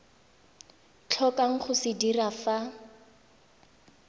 tlhokang go se dira fa